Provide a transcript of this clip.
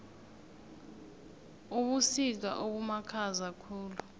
ubusika obumakhaza khulu